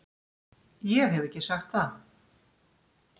Ég hef ekki sagt það!